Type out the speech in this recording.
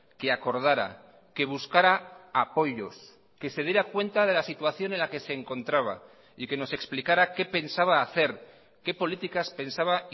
que acordara que buscara apoyos que se diera cuenta de la situación en la que se encontraba y que nos explicara qué pensaba hacer qué políticas pensaba